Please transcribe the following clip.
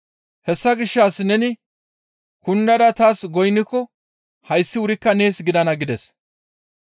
«Hessa gishshas neni kundada taas goynniko hayssi wurikka nees gidana» gides.